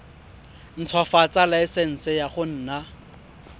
ntshwafatsa laesense ya go nna